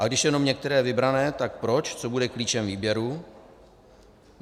A když jenom některé vybrané, tak proč, co bude klíčem výběru?